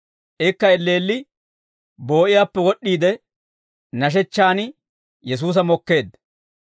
Ikka elleelli boo'iyaappe wod'd'iide, nashechchaan Yesuusa mokkeedda.